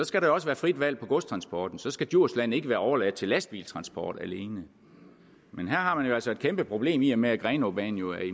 skal der også være frit valg på godstransporten så skal djursland ikke være overladt til lastbiltransport alene men her har man jo altså et kæmpe problem i og med at grenaabanen jo